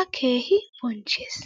a keehi bonchchees.